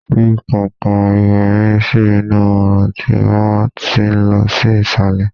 fi kankan iwe mi sí inú orun tí o ba ti lọ sí isale